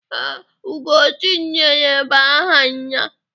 Ee, Ugochinyere bụ aha ya.